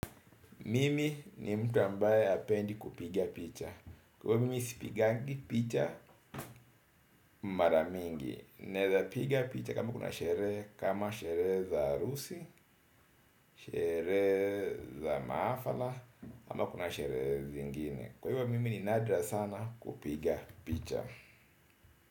Mimi ni mtu ambaye hapendi kupiga picha kwa hivyo mimi sipigangi picha mara mingi naweza piga picha kama kuna sherehe kama sherehe za harusi sherehe za mahafala ama kuna sherehe. Kwa hivyo mimi ni nadra sana kupiga picha.